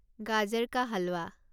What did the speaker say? গাজাৰ কা হালৱা